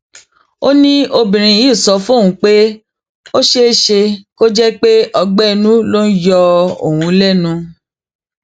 ó ní obìnrin yìí sọ fóun pé ó ṣeé ṣe kó jẹ pé ọgbẹ inú ló ń yọ òun lẹnu